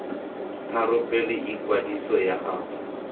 tharo pele ikwadiso ya gago